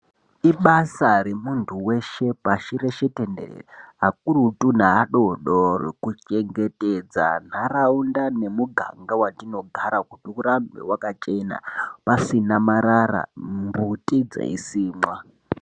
Ibasa remuntu weshe pashi reshe tenderere, akurutu neadoodori kuchengetedza nharaunda nemuganga watinogara. Kuti urambe wakachena, pasina marara, mbuti dzeisimwa.